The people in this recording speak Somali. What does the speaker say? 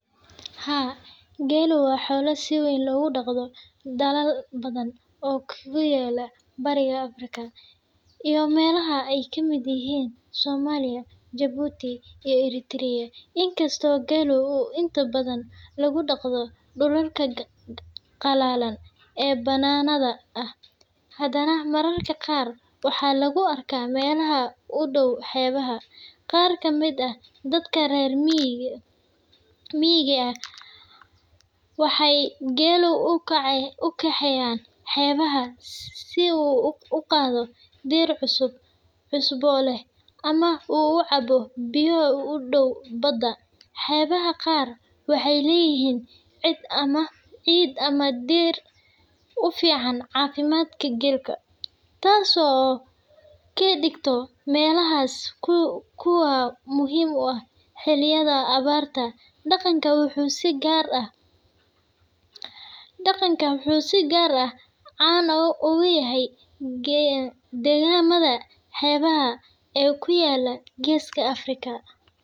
Haa, geelu waa xoolo si weyn loogu dhaqdo dalal badan oo ku yaalla Bariga Afrika iyo meelaha ay ka mid yihiin Soomaaliya, Jabuuti, iyo Ereteriya. In kastoo geelu inta badan lagu dhaqdo dhulalka qallalan ee bannaanada ah, haddana mararka qaar waxaa lagu arkaa meelaha u dhow xeebaha. Qaar ka mid ah dadka reer miyiga ah waxay geela u kaxeeyaan xeebaha si uu u daaqo dhir cusbo leh ama uu u cabo biyo u dhow badda. Xeebaha qaar waxay leeyihiin ciid ama dhir u fiican caafimaadka geela, taas oo ka dhigta meelahaas kuwo muhiim u ah xilliyada abaarta. Dhaqankan wuxuu si gaar ah caan uga yahay deegaamada xeebaha ee ku yaalla Geeska Afrika.